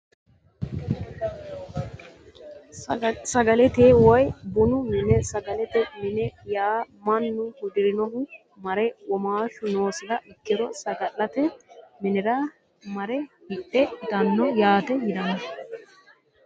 Sagalete woyi bunu mine saglete mine yaa mannu hudirinohu mare womaashu noosiha ikiro sagalete minira mare hidhe itano yaate yinani.